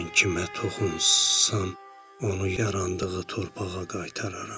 Mən kimə toxunsam, onu yarandığı torpağa qaytararam,